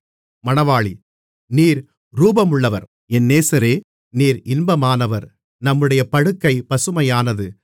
நீர் ரூபமுள்ளவர் என் நேசரே நீர் இன்பமானவர் நம்முடைய படுக்கை பசுமையானது